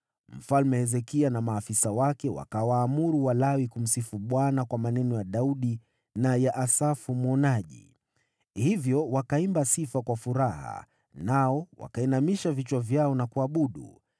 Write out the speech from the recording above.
Mfalme Hezekia na maafisa wake wakawaamuru Walawi kumsifu Bwana kwa maneno ya Daudi na ya Asafu mwonaji. Hivyo wakaimba sifa kwa furaha nao wakainamisha vichwa vyao na kuabudu.